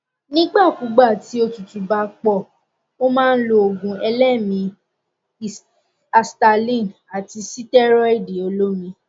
nígbà kúùgbà tí òtútù bá pọ ó máa lo òògùn eléèémí i asthaline àti sítẹrọìdì olómi